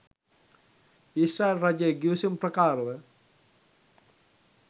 ඊශ්‍රායල් රජය ගිවිසුම් ප්‍රකාරව